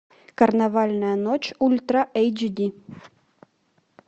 карнавальная ночь ультра эйч ди